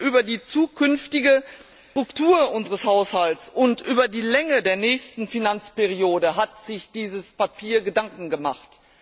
über die zukünftige Struktur unseres Haushalts und über die Länge der nächsten Finanzperiode hat sich dieses Papier Gedanken gemacht.